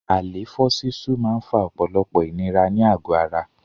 Àléfọ́ sísú máa ń fa ọ̀pọ̀lọpọ̀ ìnira ní àgò ara.